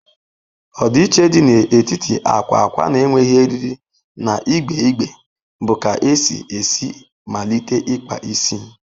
Ọdịiche dị n'etiti akwa akwa na-enweghị eriri na igbe igbe bụ ka esi esi malite ikpa isi.